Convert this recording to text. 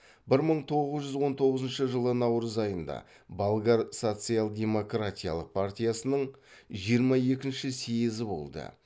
бір мың тоғыз жүз он тоғызыншы жылы наурыз айында болгар социал демократиялық партиясының жиырма екінші съезі болды